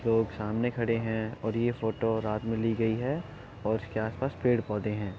लोग सामने खड़े हैं और यह फ़ोटो रात में ली गई है और इसके आस-पास पेड़-पौधे हैं।